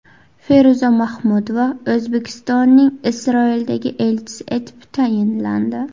Feruza Mahmudova O‘zbekistonning Isroildagi elchisi etib tayinlandi.